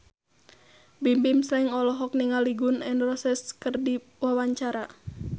Bimbim Slank olohok ningali Gun N Roses keur diwawancara